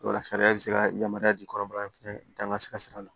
Wala sariya be se ka yamaruya di kɔnɔbara in fɛnɛ dan ka se ka sira la